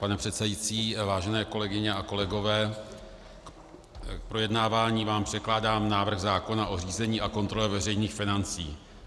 Pane předsedající, vážené kolegyně a kolegové, k projednávání vám předkládám návrh zákona o řízení a kontrole veřejných financí.